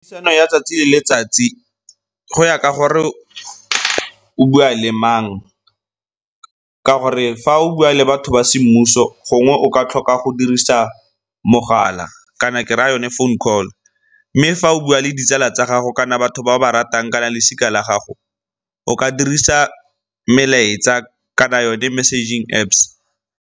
ya 'tsatsi le letsatsi go ya ka gore o bua le mang, ka gore fa o bua le batho ba semmuso gongwe o ka tlhoka go dirisa mogala kana ke raya yone phone call. Mme fa o bua le ditsala tsa gago kana batho ba o ba ratang kana losika la gago o ka dirisa melaetsa kana yone messaging Apps.